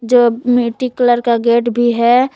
जो एक मिट्टी कलर का गेट भी है।